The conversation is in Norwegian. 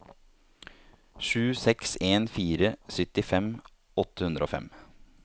sju seks en fire syttifem åtte hundre og fem